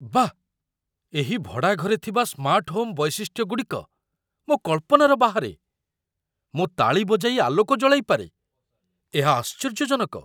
ବାଃ, ଏହି ଭଡ଼ାଘରେ ଥିବା ସ୍ମାର୍ଟ ହୋମ୍ ବୈଶିଷ୍ଟ୍ୟଗୁଡ଼ିକ ମୋ କଳ୍ପନାର ବାହାରେ ମୁଁ ତାଳି ବଜାଇ ଆଲୋକ ଜଳାଇ ପାରେ, ଏହା ଆଶ୍ଚର୍ଯ୍ୟଜନକ!